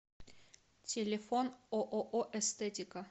телефон ооо эстетика